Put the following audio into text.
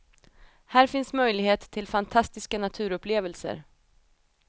Här finns möjlighet till fantastiska naturupplevelser.